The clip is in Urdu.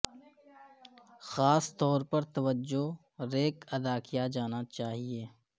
خاص طور پر توجہ ریک ادا کیا جانا چاہئے